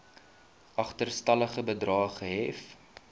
agterstallige bedrae gehef